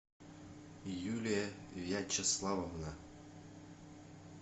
юлия вячеславовна